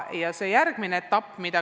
Ka see muudab pilti.